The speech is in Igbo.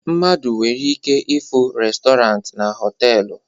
Mmadụ nwere ike ịfụ restọrant na họtelu